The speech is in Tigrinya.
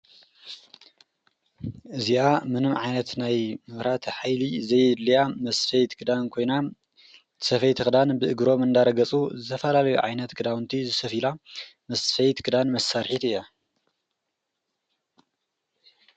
እዚኣ ምን ዓይነት ናይ ምራት ኃይሊ ዘይድልያ ምስፈይት ግዳን ኮይና ሰፈይት ኽዳን ብእግሮም እንዳረገጹ ዘፈላለዮ ዓይነት ግዳውንቲ ዝሰፊላ ምስፈይት ግዳን መሣርሒት እያ።